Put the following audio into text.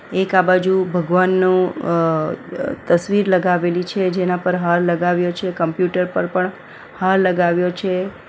એક આ બાજુ ભગવાનનું અ તસવીર લગાવેલી છે જેના પર હાર લગાવ્યો છે કમ્પ્યુટર પર પણ હાર લગાવ્યો છે.